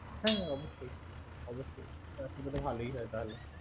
হ্যা হ্যা অবশ্যই তাহলে তো ভালোই হয় তাহলে